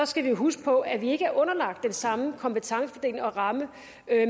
skal vi huske på at vi ikke er underlagt den samme kompetencefordeling og ramme